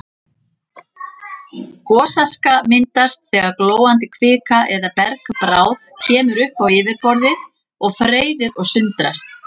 Gosaska myndast þegar glóandi kvika eða bergbráð kemur upp á yfirborðið og freyðir og sundrast.